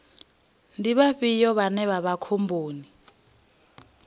ndi vhafhio vhane vha vha khomboni